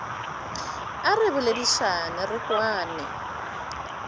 a re boledišane re kwane